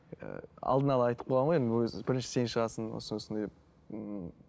ыыы алдын ала айтып қойған ғой енді ол кезде бірінші сен шығасың осындай осындай деп ммм